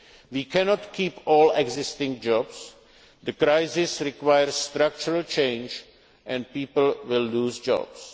jobs. We cannot keep all existing jobs the crisis requires structural change and people will lose